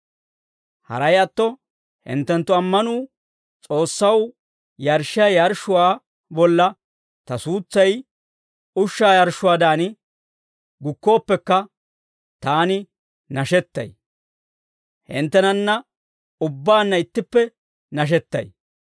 Haray atto hinttenttu ammanuu S'oossaw yarshshiyaa yarshshuwaa bolla ta suutsay ushshaa yarshshuwaadan gukkooppekka, taani nashettay; hinttenanna ubbaanna ittippe nashettay.